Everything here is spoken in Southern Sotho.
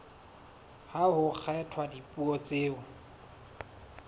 ha ho kgethwa dipuo tseo